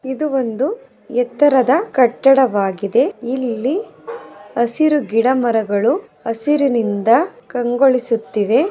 ಇದು ಒಂದು ಎತ್ತರದ ಕಟ್ಟಡವಾಗಿದೆ. ಇಲ್ಲಿ ಹಸಿರು ಗಿಡಮರಗಳು ಹಸಿರಿನಿಂದ ಕಂಗೊಳಿಸುತ್ತಿವೆ.